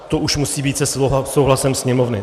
To už musí být se souhlasem Sněmovny.